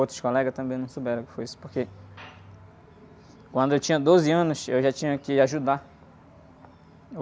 Outros colegas também não souberam o que foi isso, porque... Quando eu tinha doze anos, eu já tinha que ajudar.